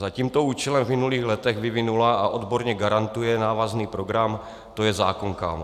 Za tímto účelem v minulých letech vyvinula a odborně garantuje návazný program To je zákon, kámo.